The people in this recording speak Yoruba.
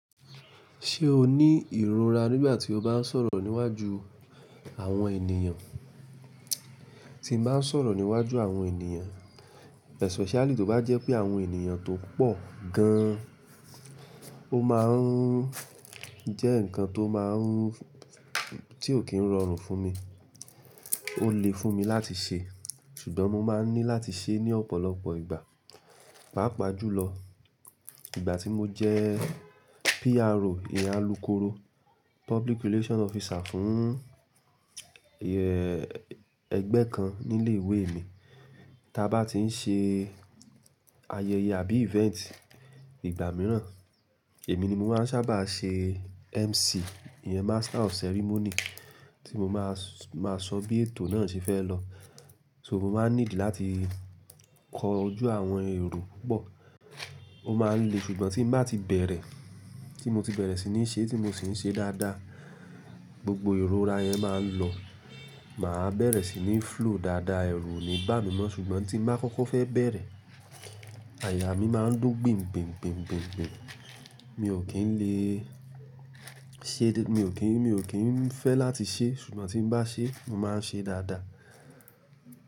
Ṣé o ní ìrora nígbà tí o bá ń sọ̀rọ̀ níwájú àwọn ènìyàn? Ti mo bá ń sọ̀rọ̀ níwájú àwọn ènìyàn, especially tó bá jẹ́ pé àwọn ènìyàn tó pọ̀ gan-an, ó má ń jẹ́ ǹkan tí ò kí ń rọrùn fún mi. Ó lè fún mi láti ṣe, ṣùgbọ́n mo máa ń ní láti ṣe é ní ọ̀pọ̀lọpọ̀ ìgbà. Páàpáà júlọ, ìgbà tí mo jẹ́ PRO, ìyen kóró, public relation officer, fún ẹgbẹ́ kan ní ilé ìwé mi. Tí a bá ti ń ṣe ayẹyẹ àbí event igbà mìíràn, èmi ni mo máa ń sábà ṣe MC, ìyen master of ceremony, tí mo máa sọ bí ètò náà ṣe fẹ́ lọ. So mo máa ń need láti kọjú àwọn èrò pupọ̀. Ó máa ń le ṣùgbọ́n tí bá ti bẹ̀rẹ̀, tí mo ti bẹ̀rẹ̀ sì ní ṣe é, tí mo sì ń ṣe dáadáa, gbogbo ìrora yẹn máa ń lọ. Máa bẹ̀rẹ̀ sì ní flow dáadáa, èrù ò ní bá mi mọ́, ṣùgbọ́n tí mo bá kọ́kọ́ fẹ́ bẹ̀rẹ̀, àyà mí máa ń dùn gbìngbìn. Mi ò kí ń fẹ́ láti ṣe é, ṣùgbọ́n tí bá ṣe é, mo máa ń ṣe é dáadáa.